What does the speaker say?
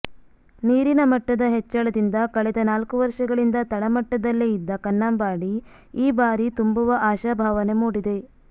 ನೀರಿನ ಮಟ್ಟದ ಹೆಚ್ಚಳದಿಂದ ಕಳೆದ ನಾಲ್ಕು ವರ್ಷಗಳಿಂದ ತಳಮಟ್ಟದಲ್ಲೇ ಇದ್ದ ಕನ್ನಂಬಾಡಿ ಈ ಬಾರಿ ತುಂಬುವ ಆಶಾಭಾವನೆ ಮೂಡಿದೆ